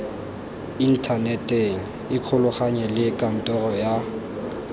inthaneteng ikgolaganye le kantoro ya